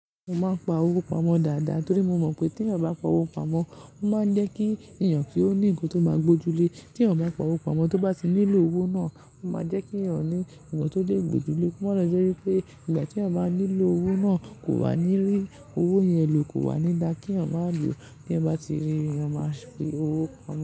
Mo máa ń pa owó pamọ́ dáadáa torí mo mọ̀ pé t’èèyàn bá pa owó pamọ́, ó máa ń jẹ́ kí ènìyàn kí ó ní ohun tó máa gbójú lé. Tí a bá pa owó pamọ́, tó bá ti nílò owó náà, ó máa jẹ́ kí ènìyàn ní ohun tó lè gbójú lé. Ko máa lo je wípé ìgbà tí a bá nílò owó náà, kò wà ní rí owó yẹn lò, kò wà ní dá kí eeyan ma lo ti eeyan bá ti rí, eeyan máa fi owó pamọ́.